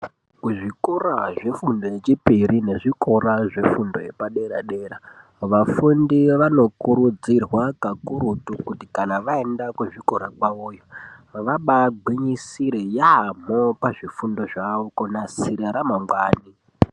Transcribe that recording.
Kuzvikora zvefundo yechipiri nezvikora zvefundo yepadera dera vafundi vanokurudzirwa kakurutu kuti kana vaenda kuzvikora kwavoyo vabaagwinyisire yaamho pazvifundo zvavo kunasira ramangwani.